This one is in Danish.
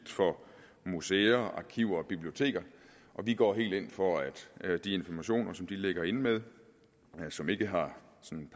for museer arkiver og biblioteker vi går helt ind for at de informationer som de ligger inde med og som ikke har